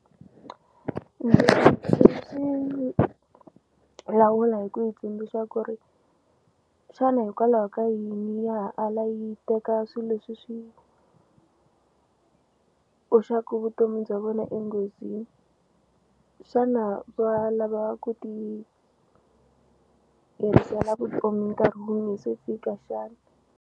lawula hi ku yi tsundzuxa ku ri xana hikwalaho ka yini ya ha ala yi teka swi leswi swi hoxaku vutomi bya vona enghozini xana va lava ku ti herisela vutomi nkarhi wu nge se fika xana.